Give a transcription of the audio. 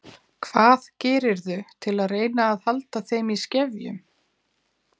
Hvað gerirðu til að reyna að halda þeim í skefjum?